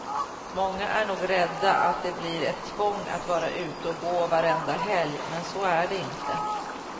Många är nog rädda att det blir ett tvång att vara ute och gå varenda helg, men så är det inte.